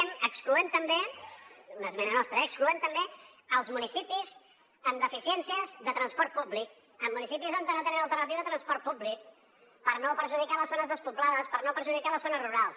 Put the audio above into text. ah sí excloem també una esmena nostra eh els municipis amb deficiències de transport públic en municipis on no tenen alternativa de transport públic per no perjudicar les zones despoblades per no perjudicar les zones rurals